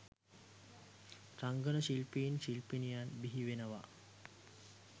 රංගන ශිල්පීන් ශිල්පිනියන් බිහි වෙනවා